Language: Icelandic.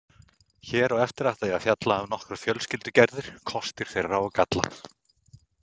Hér á eftir ætla ég að fjalla um nokkrar fjölskyldugerðir, kosti þeirra og galla.